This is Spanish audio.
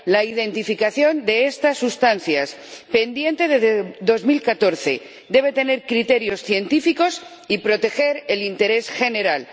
La identificación de estas sustancias, pendiente desde 2014, debe tener criterios científicos y proteger el interés general.